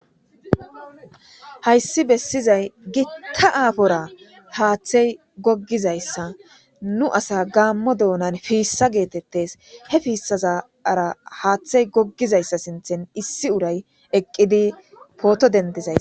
Hayssi bessizay Gita aafora haathay goggizayssa nu asaa gaammo doonan fiissa geetettees. He fiissazara haathay goggizayssa sinthan issi uray eqqidi pooto denddizaysa...